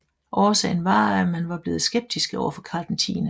Årsagen var at man var blevet skeptiske over for Karl 10